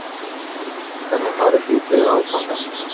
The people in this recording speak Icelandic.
Lillý: Hvenær farið þið í þriðja áfangann?